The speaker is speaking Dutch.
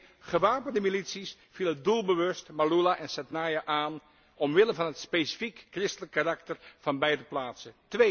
1. Gewapende milities vielen doelbewust Maaloula en Sednaya aan omwille van het specifiek christelijk karakter van beide plaatsen